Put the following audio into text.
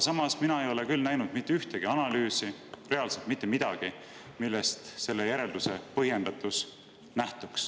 Aga mina ei ole küll näinud mitte ühtegi analüüsi, reaalselt mitte midagi, millest nähtuks selle järelduse põhjendatus.